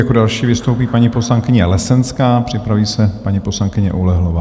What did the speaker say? Jako další vystoupí paní poslankyně Lesenská, připraví se paní poslankyně Oulehlová.